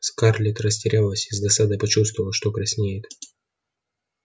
скарлетт растерялась и с досадой почувствовала что краснеет